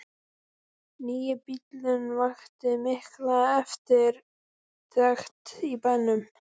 Nýi bíllinn vakti mikla eftirtekt í bænum.